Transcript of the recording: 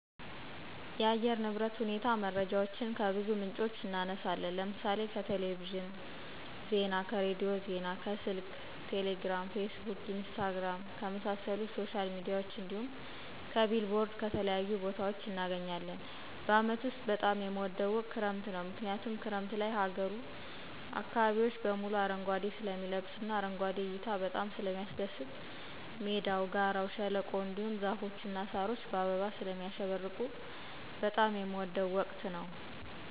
የአየር ንብረት ሁኔታ መረጃዎችን ከብዙ ምንጮች እናነሳለን ለምሳሌ :-ከቴሌቪዥን ዜና, ከሬዲዮ ዜና ,ከስልክ ቴሌግራም ,ፌስቡክ ,ኢንስታግራም, ከመሳሰሉት ሶሻል ሚዲያዎች እንዲሁም ,ከቢልቦርድ ከተለያዩ ቦታዎች እናገኛለን። በአመት ውስጥ በጣም የምወደው ወቅት ክረምት ነው ምክንያቱም ክረምት ላይ ሀገሩ አካባቢዎች በሙሉ አረንጓዴ ስለሚለብሱ እና አረንጓዴ እይታ በጣም ስለሚያስደስት ሜዳው, ጋራው, ሸለቆው, እንዲሁም ዛፎች እና ሳሮች በአበባ ስለሚያሸበርቁ በጣም የምወደው ወቅት ነው።